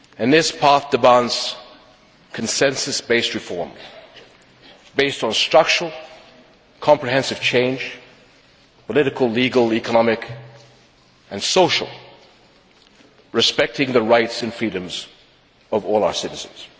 This path demands consensus based reform, based on structural, comprehensive change political, legal, economic and social respecting the rights and freedoms of all our citizens.